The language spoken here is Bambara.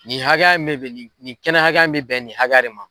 Nin hakɛ in ne bɛ di nin kɛnɛ hakɛya in bɛ bɛn nin hakɛya de ma.